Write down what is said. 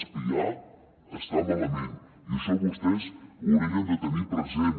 espiar està malament i això vostès ho haurien de tenir present